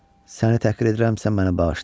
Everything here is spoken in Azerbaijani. Səni təhqir edirəmsə, məni bağışla.